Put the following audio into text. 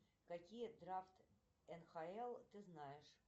какие драфты нхл ты знаешь